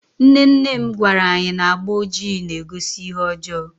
nne nne m gwara anyi na agba ojii na-egosi ihe ọjọọ